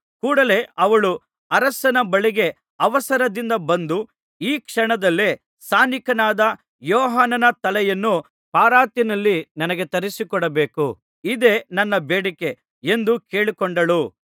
ಕೂಡಲೆ ಅವಳು ಅರಸನ ಬಳಿಗೆ ಅವಸರದಿಂದ ಬಂದು ಈ ಕ್ಷಣದಲ್ಲೇ ಸ್ನಾನಿಕನಾದ ಯೋಹಾನನ ತಲೆಯನ್ನು ಪರಾತಿನಲ್ಲಿ ನನಗೆ ತರಿಸಿಕೊಡಬೇಕು ಇದೇ ನನ್ನ ಬೇಡಿಕೆ ಎಂದು ಕೇಳಿಕೊಂಡಳು